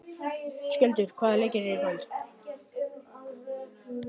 Skjöldur, hvaða leikir eru í kvöld?